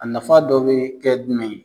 A nafa dɔ be kɛ dumɛn ye?